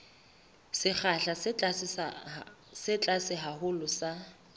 sekgahla se tlase haholo sa